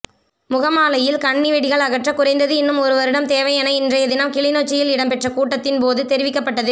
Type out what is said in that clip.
முகமாலையில் கண்ணிவெடிகள் அகற்ற குறைந்தது இன்னும் ஒருவருடம் தேவை என இன்றையதினம் கிளிநொச்சியில் இடம்பெற்ற கூட்டத்தின் போது தெரிவிக்கப்பட்டது